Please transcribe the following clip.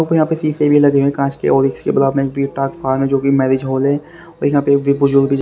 ऊपर यहां पे सीसे भी लगे हुए हैं कांच के और जो कि मैरिज हॉल है और यहां पे बुजुर्ग भी--